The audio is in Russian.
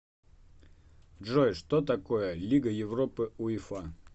джой что такое лига европы уефа